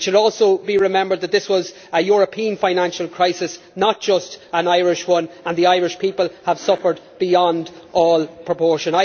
It should also be remembered that this was a European financial crisis, not just an Irish one, and the Irish people have suffered beyond all proportion.